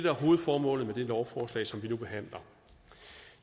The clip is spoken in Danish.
er hovedformålet med det lovforslag som vi nu behandler